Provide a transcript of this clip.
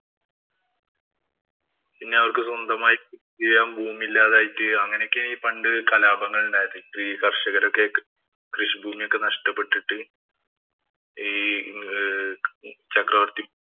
പിന്നെ അവര്‍ക്ക് സ്വന്തമായി കൃഷി ചെയ്യാന്‍ ഭൂമിയില്ലാതെയായി തീരുകയും അങ്ങനെയൊക്കെയാ ഈ പണ്ട് കലാപങ്ങള്‍ ഉണ്ടായത്. ഈ കര്‍ഷകര്‍ക്ക് രൊക്കെ ഈ കൃഷി ഭൂമിയൊക്കെ നഷ്ടപ്പെട്ടിട്ട് ഈ ചക്രവര്‍ത്തി